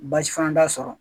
Baasi fana t'a sɔrɔ